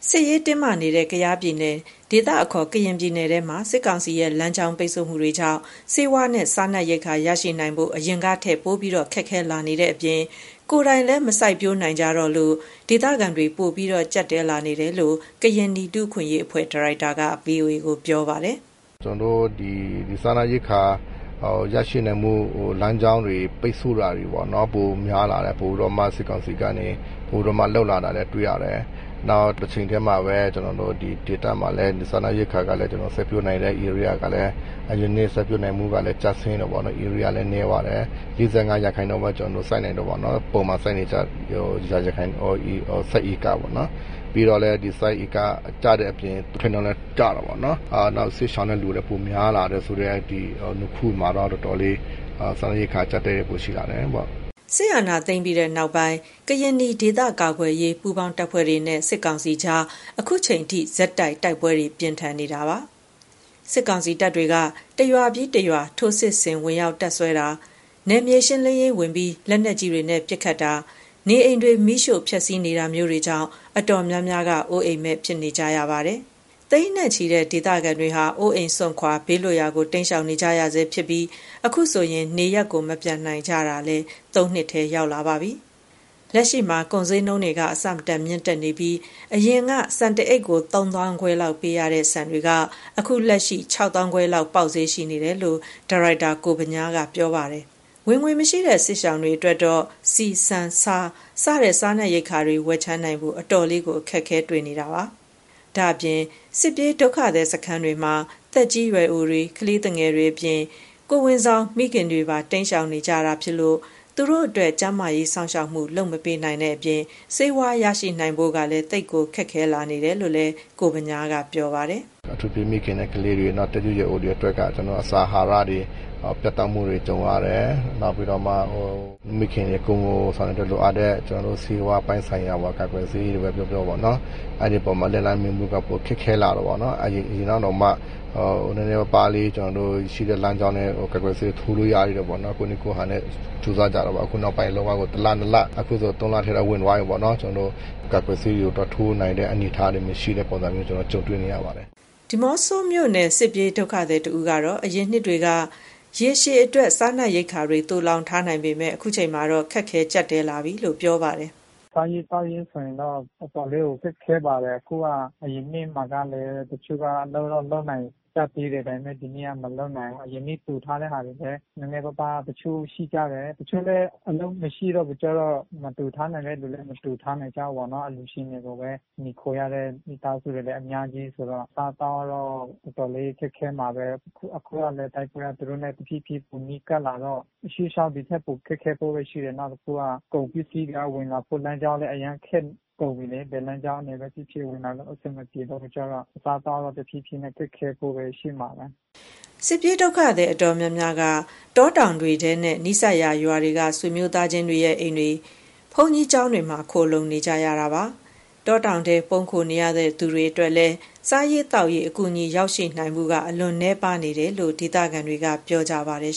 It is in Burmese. စစ်ရေးတင်းမာနေတဲ့ ကယားပြည်နယ် ဒေသအခေါ် ကရင်နီပြည်နယ်မှာ စစ်ကောင်စီရဲ့လမ်းကြောင်းပိတ်ဆို့မှုတွေကြောင့် ဆေးဝါးနဲ့ စားနပ်ရိက္ခာရရှိနိုင်ဖို့ အရင်ကထက် ပိုမိုခက်ခဲလာနေတဲ့အပြင် ကိုယ်တိုင်လည်းမစိုက်ပျိုးနိုင်ကြတော့တဲ့အတွက် ဒေသခံတွေ ပိုပြီး ကြပ်တည်းလာတယ်လို့ ကရင်နီလူ့အခွင့်အရေးအဖွဲ့ ဒါရိုက်တာက VOA ကို ပြောပါတယ်။ “စားနပ်ရိက္ခာရရှိနိုင်ဖို့ လမ်းကြောင်းတွေပိတ်ဆို့တာတွေပေါ့နော်၊ ပိုများလာတယ်။ စစ်ကောင်စီက ပိုပြီးလုပ်လာတာလည်း တွေ့ရတယ်။ တချိန်တည်းမှာပဲ ကျနော်တို့ ဒီဒေသမှာလည်း စားနပ်ရိက္ခာ စိုက်ပျိုးနိုင်တဲ့ဧရိယာကလည်း အရင်နှစ်ထက် စိုက်ပျိုးနိုင်မှုက ကျဆင်းတယ်ပေါ့နော်။ ဧရိယာလည်း နည်းသွားတယ်။ ၄၅ ရာခိုင်နှုန်းပဲ စိုက်နိုင်တယ်ပေါ့နော်။ ပုံမှန်စိုက်နေကျ ရာခိုင်နှုန်းထက်ပေါ့နော်။ ပြီးတော့လည်း စိုက်ဧကကျတဲ့အပြင် အထွက်နှုန်းလည်းကျတယ်ပေါ့နော်။ နောက်စစ်ရှောင်တဲ့ လူဦးရေလည်း ပိုများလာတယ်ဆိုတဲ့အခုမှာတော့ တော်တော်လေး စားရိက္ခာ အကျပ်တည်းပိုရှိလာတယ်။” စစ်အာဏာသိမ်းပြီးနောက်ပိုင်း ကရင်နီဒေသကာကွယ်ရေး ပူးပေါင်းတပ်ဖွဲ့တွေနဲ့ စစ်ကောင်စီကြား ခုချိန်ထိ ဆက်တိုက် တိုက်ပွဲပြင်းထန်နေတာပါ။ စစ်ကောင်စီတပ်တွေက တရွာပြီးတရွာ ထိုးစစ်ဆင်ဝင်ရောက်တပ်စွဲတာ၊ နယ်မြေရှင်းလင်းရေးဝင်ပြီး လက်နက်ကြီးတွေနဲ့ပစ်ခတ်တာ၊ နေအိမ်တွေ မီးရှို့ဖျက်ဆီးနေတာကြောင့် အတော်များများက အိုးအိမ်မဲ့ဖြစ်ကြရပါတယ်။ သိန်းနဲ့ချီတဲ့ ဒေသခံတွေဟာလည်း အိုးအိမ်စွန့်ခွာ ဘေးလွတ်ရာကို တိမ်းရှောင်နေကြရဆဲ ဖြစ်ပြီး ခုဆို နေရပ်မပြန်နိုင်တာ ၃ နှစ်ထဲ ဝင်လာပါပြီ။ လက်ရှိမှာ ကုန်ဈေးနှုန်းတွေ အဆမတန်မြင့်တက်နေပြီး ယခင်က ဆန်တအိတ်ကို ၃၅,၀၀၀ လောက်ဝယ်လို့ရတဲ့ ဆန်တွေက လက်ရှိ ၆၅,၀၀၀ လောက် ပေါက်ဈေးရှိနေတယ်လို့ ဒါရိုက်တာ ကိုဗညားက ပြောပါတယ်။ ဝင်ငွေမရှိတဲ့ စစ်ရှောင်တွေအဖို့တော့ ဆန် ဆီ ဆား စတဲ့ စားနပ်ရိက္ခာတွေ ဝယ်ခြမ်းနိုင်ဖို့ အတော်လေး ခက်ခဲနေတာပါ။ ဒါ့ပြင် စစ်ပြေးဒုက္ခသည်စခန်းတွေမှာ သက်ကြီးရွယ်အိုတွေနဲ့ ကလေးသူငယ်တွေအပြင် ကိုယ်ဝန်ဆောင်မိခင်ပါမကျန် တိမ်းရှောင်နေရတာဖြစ်ပြီး သူတို့အတွက် ကျန်းမာရေးစောင့်ရှောက်မှုလုပ်မပေးနိုင်တဲ့အပြင် ဆေးဝါးရရှိနိုင်ဖို့ပါ သိပ်ကိုခက်ခဲလာတယ်လို့လည်း ကိုဗညားက ပြောပါတယ်။ “အထူးသဖြင့် မိခင်နဲ့ကလေးတွေ၊ နောက်သက်ကြီးရွယ်အိုတွေအတွက်က အစာအာဟာရတွေ ပြတ်တောက်မှုတွေ ကြုံရတယ်၊ နောက်ပြီးတော့မှ မိခင်တွေ ကိုယ်ဝန်ဆောင်တွေအတွက်လိုအပ်တဲ့ ဆေးဝါးပိုင်ဆိုင်ရာ ကာကွယ်ဆေးတွေပဲ ပြောပြောပေါ့နော်၊ အဲ့ဒီအပေါ်မှာ လက်လှမ်းမီဖို့မှုက ပိုခက်ခဲလာတယ်ပေါ့နော်။ အရင်တုန်းက နည်းနည်းပါးပါးလေး ရှိတဲ့လမ်းကြောင်းနဲ့ ကာကွယ်ဆေးထိုးလို့ရသေးတယ်ပေါ့နော်။ ကိုယ့်နည်းကိုယ့်ဟန်နဲ့ ကြိုးစားကြတာပေါ့နော်။ အခုနောက်ပိုင်းကို တလ နှစ်လ အခုဆို သုံးလထဲတော့ ဝင်သွားပြီပေါ့နော် ကာကွယ်ဆေးတွေကို သွားထိုးနိုင်တဲ့အနေအထားတွေ မရှိတဲ့ပုံစံမျိုး ကျနော်တို့ ကြုံတွေ့နေရပါတယ်။” ဒီးမော့ဆိုမြို့နယ် စစ်ပြေးဒုက္ခသည်တဦးကတော့ အရင်နှစ်တွေက ရေရှည်အတွက် စားနပ်ရိက္ခာသိုလှောင်ထားနိုင်ပေမယ့် ခုချိန်မှာတော့ ခက်ခဲကျပ်တည်းလာပြီလို့ပြောပါတယ်။ “စားရေးသောက်ရေးဆိုရင်တော့ တော်တော်လေးကို ခက်ခဲပါတယ်။ အခုက အရင်နှစ်မှာက တချို့က လုပ်တော့လုပ်နိုင်ကြသေးတယ်။ ဒါပေမယ့် ဒီနှစ်က မလုပ်နိုင်ဘူး။ အရင်နှစ် တိုထားတဲ့ဟာတွေပဲ နည်းနည်းပါးပါး တချို့ရှိကြတယ၊ တချို့လည်း အလုပ်မရှိတော့ခါကျတော့ မသိုထားနိုင်တဲ့လူ မသိုထားနိုင်ကြဘူးပေါ့နော်။ အလှူရှင်တွေကိုပဲ မှီခိုရတဲ့ မိသားစုတွေလည်းအများကြီးဆိုတော့ အစားအသောက်ကတော့ တော်တော်လေး ခက်ခဲမှာပဲ။ အခုကလည်း တိုက်ပွဲက သူတို့နဲ့ တဖြေးဖြေးနိုင် ပိုနီးကပ်လာတော့ ရှေ့လျှောက်ဒီထက် ပိုခက်ခဲဖို့ပဲရှိတယ်။ နောက် အခုက ကုန်ပစ္စည်းတွေက ဝင်လာဖို့လမ်းကြောင်းလည်း အရမ်းခက်ကုန်ပြီလေ။ ဘယ်လမ်းကြောင်းကနေပဲဖြစ်ဖြစ် ဝင်လာလို့အဆင်မပြေတော့ကျခါတော့ အစားအသောက်တော့ တဖြေးဖြေးနဲ့ ခက်ခဲဖို့ပဲရှိမယ်။” စစ်ပြေးဒုက္ခသည် အတော်များများက တောတောင်ထဲနဲ့ နီးစပ်ရာရွာတွေက ဆွေမျိုးသားချင်းအိမ်တွေ၊ ဘုန်းကြီးကျောင်းတွေမှာ ခိုလှုံနေရကြတာ ဖြစ်ပါတယ်။ တောတောင်ထဲ ပုန်းခိုနေသူတွေအတွက်လည်း စားရေးသောက်ရေး အကူအညီရောက်နိုင်မှုက အလွန်နည်းပါးတယ်လို့ ဒေသခံတွေက ပြောတယ်